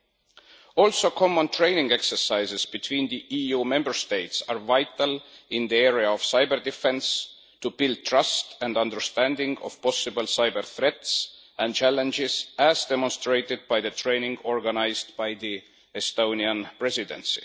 In addition, joint training exercises between the EU Member States are vital in the area of cyber defence to build trust and understanding of possible cyber threats and challenges, as demonstrated by the training organised by the Estonian Presidency.